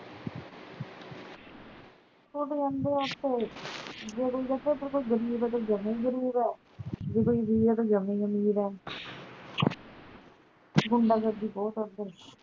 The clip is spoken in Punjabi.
ਗੁੰਡਾਗਰਦੀ ਬਹੁਤ ਆ ਓਧਰ